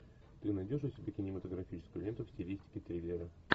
ты найдешь у себя кинематографическую ленту в стилистике триллера